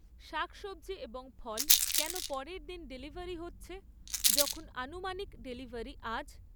শাকসবজি এবং ফল কেন পরের দিন ডেলিভারি হচ্ছে যখন আনুমানিক ডেলিভারি আজ?